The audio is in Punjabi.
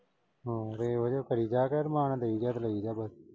ਹਾਂ ਬੇ ਵਜ੍ਹਾ ਪਈ ਰਿਹਾ ਕਰ ਰੁਮਾਨ ਨਾਲ। ਦਈ ਜਾ ਤੇ ਲਈ ਜਾ ਬਸ।